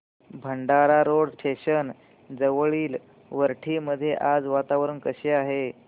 Bhandara road station जवळील वरठी मध्ये आज वातावरण कसे आहे